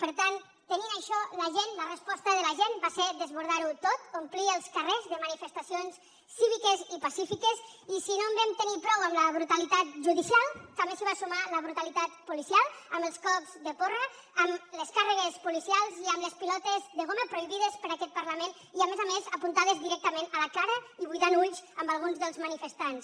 per tant tenint això la gent la resposta de la gent va ser desbordar ho tot omplir els carrers de manifestacions cíviques i pacífiques i si no en vam tenir prou amb la brutalitat judicial també s’hi va sumar la brutalitat policial amb els cops de porra amb les càrregues policials i amb les pilotes de goma prohibides per aquest parlament i a més a més apuntades directament a la cara i buidant ulls a alguns dels manifestants